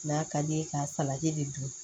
N'a ka di ye k'a salati de don